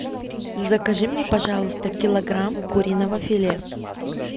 закажи мне пожалуйста килограмм куриного филе